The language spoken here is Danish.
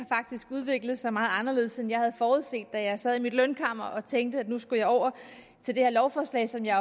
udviklet sig meget anderledes end jeg havde forudset da jeg sad i mit lønkammer og tænkte at nu skulle jeg over til det her lovforslag som jeg